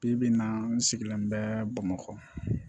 Bi bi in na n sigilen bɛ bamakɔ